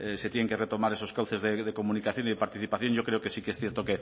se tienen que retomar esos cauces de comunicación y de participación yo creo que sí que es cierto